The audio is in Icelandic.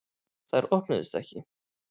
Þær opnuðust ekki.